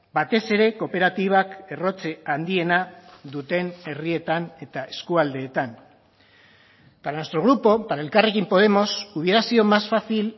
batez ere kooperatibak errotze handiena duten herrietan eta eskualdeetan para nuestro grupo para elkarrekin podemos hubiera sido más fácil